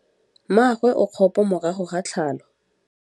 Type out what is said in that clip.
Mmagwe o kgapô morago ga tlhalô.